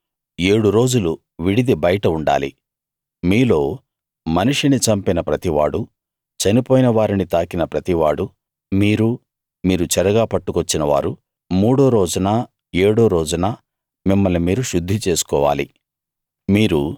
మీరు ఏడు రోజులు విడిది బయట ఉండాలి మీలో మనిషిని చంపిన ప్రతివాడూ చనిపోయిన వారిని తాకిన ప్రతివాడూ మీరు మీరు చెరగా పట్టుకొచ్చిన వారు మూడో రోజున ఏడో రోజున మిమ్మల్ని మీరు శుద్ధి చేసుకోవాలి